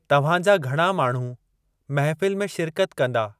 तव्हां जा घणा माण्हू महफ़िल में शिरकत कंदा?